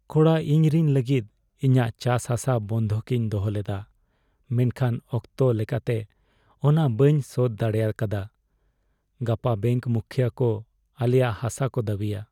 ᱠᱚᱲᱟ, ᱤᱧ ᱨᱤᱱ ᱞᱟᱹᱜᱤᱫ ᱤᱧᱟᱜ ᱪᱟᱥᱦᱟᱥᱟ ᱵᱟᱱᱫᱷᱚᱠᱤᱧ ᱫᱚᱦᱚᱞᱮᱫᱟ ᱢᱮᱱᱠᱷᱟᱱ ᱚᱠᱛᱚ ᱞᱞᱮᱠᱟᱛᱮ ᱚᱱᱟ ᱵᱟᱹᱧ ᱥᱳᱫᱷ ᱫᱟᱲᱮᱭᱟᱠᱟᱫᱟ ᱾ ᱜᱟᱯᱟ ᱵᱮᱝᱠ ᱢᱩᱠᱷᱭᱟᱹ ᱠᱚ ᱟᱞᱮᱭᱟᱜ ᱦᱟᱥᱟ ᱠᱚ ᱫᱟᱹᱵᱤᱭᱟ ᱾